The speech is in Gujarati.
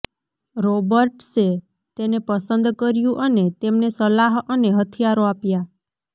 રોબર્ટ્સે તેને પસંદ કર્યું અને તેમને સલાહ અને હથિયારો આપ્યા